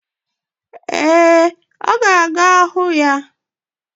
Ee, ọ ga-aga hụ ya.